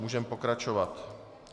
Můžeme pokračovat.